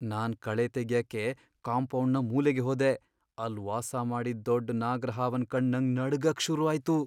ನಾನ್ ಕಳೆ ತೆಗ್ಯಕೆ ಕಾಂಪೌಂಡ್ನ ಮೂಲೆಗೆ ಹೋದೆ, ಅಲ್ ವಾಸ ಮಾಡಿದ್ ದೊಡ್ ನಾಗ್ರಹಾವನ್ ಕಂಡ್ ನಂಗ್ ನಡ್ಗಕ್ ಶುರು ಆಯ್ತು.